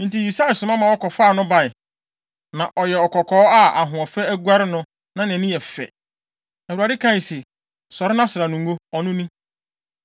Enti Yisai soma ma wɔkɔfaa no bae. Na ɔyɛ ɔkɔkɔɔ a ahoɔfɛ aguare no na nʼani yɛ fɛ. Awurade kae se, “Sɔre na sra no ngo. Ɔno ni.”